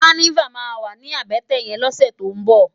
Kànivá mà wá ni àbètè yèn lòsè tó n bò